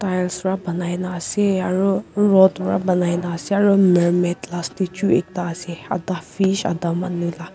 tiles bara ponaina ase aro rod bara ponaina ase aro mermaid la statue ekta ase ata fish ata manu laga.